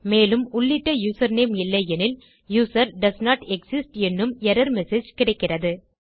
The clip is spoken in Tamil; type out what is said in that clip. மேலும் உள்ளிட்ட யூசர்நேம் இல்லை எனில் யூசர் டோஸ்ன்ட் எக்ஸிஸ்ட் என்னும் எர்ரர் மெசேஜ் கிடைக்கிறது